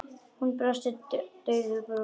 Hún brosti daufu brosi.